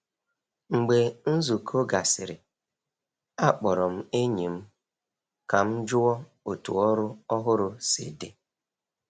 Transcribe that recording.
Mgbe nzukọ gasịrị, akpọrọ m enyi m ka m jụọ otu ọrụ ọhụrụ si dị.